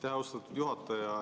Aitäh, austatud juhataja!